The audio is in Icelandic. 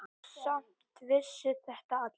Samt vissu þetta allir.